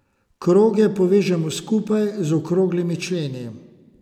Kroge povežemo skupaj z okroglimi členi.